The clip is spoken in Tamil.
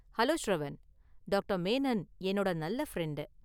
ஹலோ, ஷ்ரவன்! டாக்டர் மேனன் என்னோட நல்ல​ ஃப்ரெண்டு.